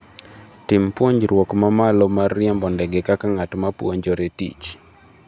Tim puonjruok ma malo mar riembo ndege kaka ng’at ma puonjore tich.